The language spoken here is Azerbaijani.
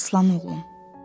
Aslan oğlum.